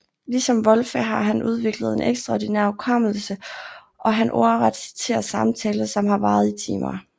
Ligesom Wolfe har han udviklet en ekstraordinær hukommelse og han ordret citere samtaler som har varet i timer